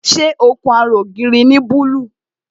Ṣé ó kun ara ògiri ní búlúù?